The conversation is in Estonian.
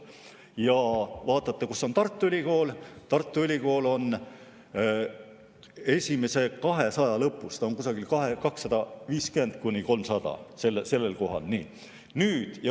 Kui te vaatate, kus on Tartu Ülikool, siis Tartu Ülikool on esimese 200 lõpus, kusagil 250 ja 300 vahel.